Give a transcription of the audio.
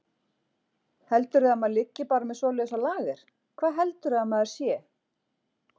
Heldurðu að maður liggi bara með svoleiðis á lager. hvað heldurðu að maður sé!